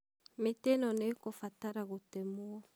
mĩtĩ ĩno nĩĩkubatara gũtemwo.